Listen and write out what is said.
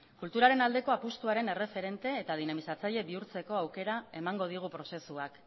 kulturaren aldeko apustuaren erreferente eta dinamizatzaile bihurtzeko aukera emango digun prozesuak